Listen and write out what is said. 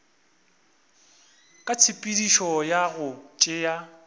ka tshepedišo ya go tšea